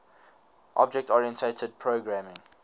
object oriented programming